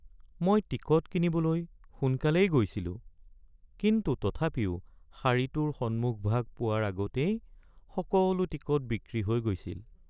মই টিকট কিনিবলৈ সোনকালেই গৈছিলো কিন্তু তথাপিও শাৰীটোৰ সন্মুখভাগ পোৱাৰ আগতেই সকলো টিকট বিক্ৰী হৈ গৈছিল।